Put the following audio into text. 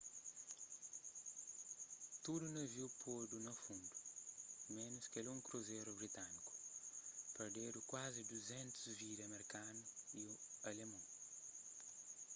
tudu naviu podu na fundu ménus kel un kruzeru britániku perdedu kuazi 200 vidas merkanu y alimon